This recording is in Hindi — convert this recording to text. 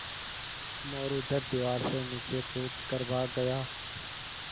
मोरू झट दीवार से नीचे कूद कर भाग गया